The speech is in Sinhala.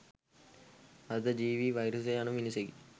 අර්ධ ජීවී වෛරසය යනු මිනිසෙකි.